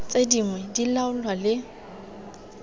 tse dingwe di laolwa le